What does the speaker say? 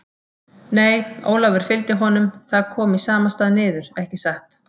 Nei, Ólafur fylgdi honum, það kom í sama stað niður, ekki satt?